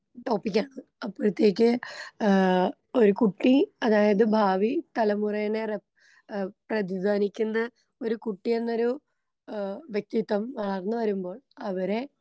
അപ്പഴത്തേക്ക് ഏ ഒരു കുട്ടി അതായത് ഭാവി തലമുറേനെ റെപ് ഏ പ്രധിധ്വാനിക്കുന്ന ഒരു കുട്ടിയെന്നൊരു ഏ വ്യക്തിത്വം വളർന്ന് വരുമ്പോൾ അവരെ.